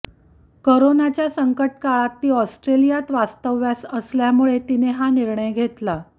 करोनाच्या संकटकाळात ती ऑस्ट्रेलियात वास्तव्यास असल्यामुळे तिने हा निर्णय घेतला